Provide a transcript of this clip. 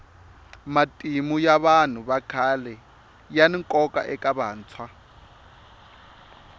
matimu ya vanhu vakhale yani nkoka eka vantshwa